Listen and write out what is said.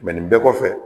nin bɛɛ kɔfɛ